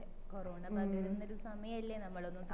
അതെ കൊറോണ പകരുന്നൊരു സമയല്ലേ നമ്മളൊന്നും